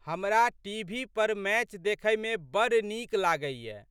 हमरा टी.भी.पर मैच देखैमे बड़ नीक लागैए।